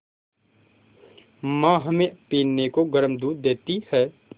माँ हमें पीने को गर्म दूध देती हैं